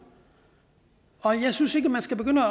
og jeg synes ikke man skal begynde